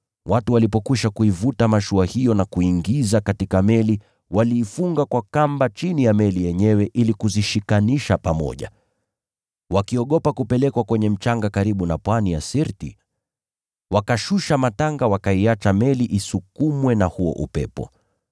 Watu walipokwisha kuivuta mashua hiyo na kuiingiza katika meli, waliifunga kwa kamba chini ya meli yenyewe ili kuzishikanisha pamoja. Wakiogopa kupelekwa kwenye mchanga karibu na pwani ya Sirti, wakashusha matanga wakaiacha meli isukumwe na huo upepo.